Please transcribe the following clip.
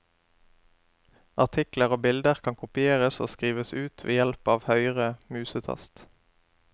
Artikler og bilder kan kopieres og skrives ut ved hjelp av høyre musetast.